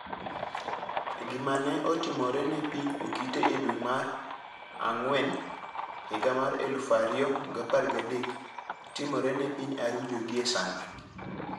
Gima ne otimore ne piny Okite e dwe mar dwe mara ngwen 2013, timore ne piny Arujo gie sani.